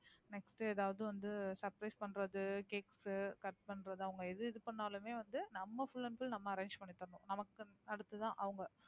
next எதாவது வந்து surprise பண்றது, cakes cut பண்றது, அவங்க எது இது பண்ணாலுமே வந்து நம்ம full and full வந்து நம்ம arrange பண்ணி தரணும். நமக்கு அதுக்கு தான் அவங்க